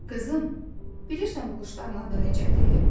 Qızım, bilirsən bu quşların adı necədir?